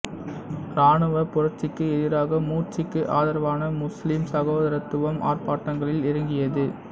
இராணுவப் புரட்சிக்கு எதிராக மூர்சிக்கு ஆதரவான முசுலிம் சகோதரத்துவம் ஆர்ப்பாட்டங்களில் இறங்கியது